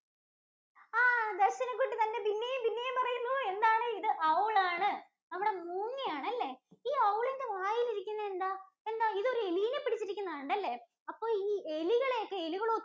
ആ ദര്‍ശനകുട്ടി ഇതാ പിന്നെയും പിന്നെയും പറയുന്നു എന്താണിത്? Owl ആണ് നമ്മുടെ മൂങ്ങ ആണ് അല്ലേ? ഈ Owl ഇന്‍റെ വായിൽ ഇരിക്കുന്നതെന്താ? ഇതൊരു എലിനെ പിടിച്ചിരിക്കുന്നെ ആണ് അല്ലേ? അപ്പൊ ഈ എലികളെ ഒക്കെ എലികള്‍